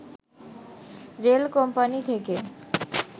rail company থেকে